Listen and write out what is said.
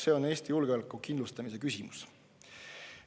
See on Eesti julgeoleku kindlustamise küsimus.